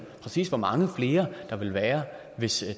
præcis hvor mange flere der vil være hvis